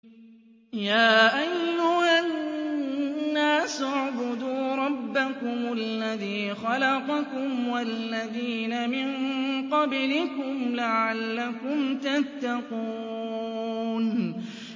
يَا أَيُّهَا النَّاسُ اعْبُدُوا رَبَّكُمُ الَّذِي خَلَقَكُمْ وَالَّذِينَ مِن قَبْلِكُمْ لَعَلَّكُمْ تَتَّقُونَ